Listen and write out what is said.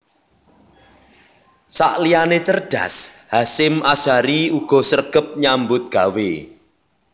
Sakliyane cerdas Hasyim Asyhari uga sregep nyambut gawe